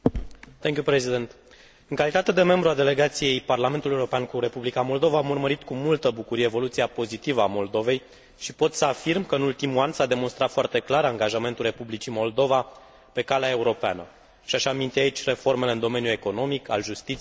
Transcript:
În calitate de membru al Delegației la Comisia parlamentară de cooperare UE Moldova am urmărit cu multă bucurie evoluția pozitivă a Moldovei și pot să afirm că, în ultimul an, s a demonstrat foarte clar angajamentul Republicii Moldova pe calea europeană. Aș aminti aici reformele în domeniul economic, al justiției sau al administrației publice.